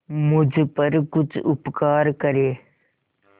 मुझ पर कुछ उपकार करें